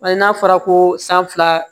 Hali n'a fɔra ko san fila